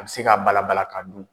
An be se ka bala bala k'a dun